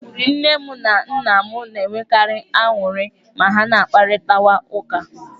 Nne m na nna m na-enwekarị aṅụrị ma ha kparịtawa ụka.